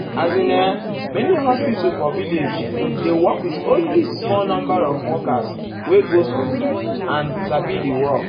as in[um]many hospital for village dey work with only small erm number of workers wey go school go school and sabi di work.